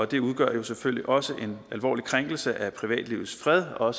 det udgør selvfølgelig også en alvorlig krænkelse af privatlivets fred og